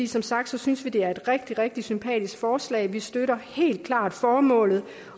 som sagt synes vi det er et rigtig rigtig sympatisk forslag vi støtter helt klart formålet